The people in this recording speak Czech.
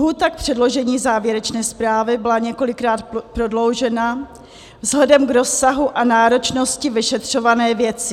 Lhůta k předložení závěrečné zprávy byla několikrát prodloužena vzhledem k rozsahu a náročnosti vyšetřované věci.